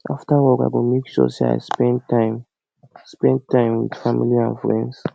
after work i go make sure say i spend time spend time with family and friends